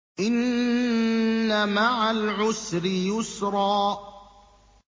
إِنَّ مَعَ الْعُسْرِ يُسْرًا